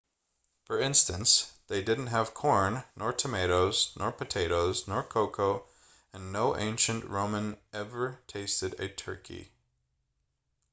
for instance they didn't have corn nor tomatoes nor potatoes nor cocoa and no ancient roman ever tasted a turkey